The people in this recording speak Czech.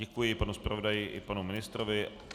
Děkuji panu zpravodaji i panu ministrovi.